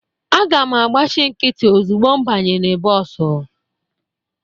Aga m agbachi nkịtị ozugbo m banyere bọọsụ.